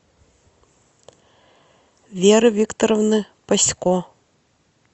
веры викторовны пасько